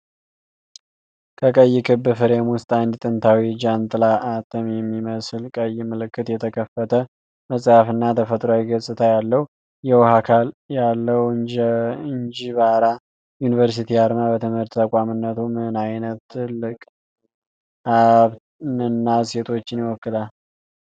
ከቀይ ክብ ፍሬም ውስጥ አንድ ጥንታዊ ጃንጥላ፣ አተም የሚመስል ቀይ ምልክት፣ የተከፈተ መጽሐፍ እና ተፈጥሯዊ ገጽታ ያለው የውሃ አካል ያለው የአንጅባራ ዩኒቨርሲቲ አርማ፣ በትምህርት ተቋምነቱ ምን አይነት ትልቅ ሃሳብንና እሴቶችን ይወክላል?